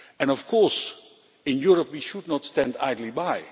Of course in Europe we should not stand idly by.